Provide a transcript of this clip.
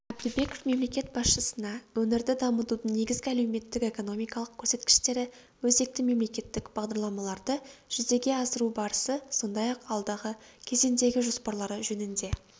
әбдібеков мемлекет басшысына өңірді дамытудың негізгі әлеуметтік-экономикалық көрсеткіштері өзекті мемлекеттік бағдарламаларды жүзеге асыру барысы сондай-ақ алдағы кезеңдегі жоспарлары жөнінде